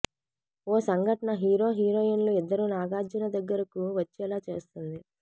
ఓ సంఘటన హీరో హీరోయిన్లు ఇద్దరూ నాగార్జున దగ్గరకు వచ్చేలా చేస్తుంది